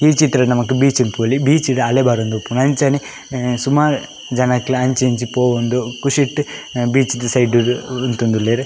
ಈ ಚಿತ್ರಡ್ ನಮಕ್ ಬೀಚ್ ಗ್ ತೂವೊಲಿ ಬೀಚ್ ಡ್ ಅಲೆ ಬರೊಂದಿಪ್ಪುಂಡು ಅಂಚನೆ ಸುಮಾರ್ ಜನಕ್ಲ ಅಂಚಿ ಇಂಚಿ ಪೋವೊಂದು ಖುಶೀಟ್ ಬೀಚ್ ದ ಸೈಡ್ ಡ್ ಉಂತೊಂದುಲ್ಲೆರ್.